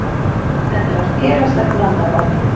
Þetta var félagslegt vandamál.